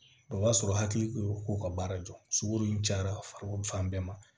O b'a sɔrɔ hakili o ka baara jɔ sunkuru in cayara farikolo fan bɛɛ ma